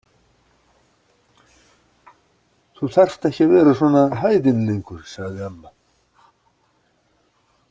Þú þarft ekki að vera svona hæðin lengur, sagði amma.